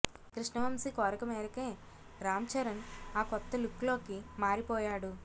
కృష్ణవంశీ కోరిక మేరకే రామ్చరణ్ ఆ కొత్త లుక్లోకి మారిపోయాడు